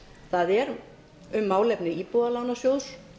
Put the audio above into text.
það er um málefni íbúðalánasjóðs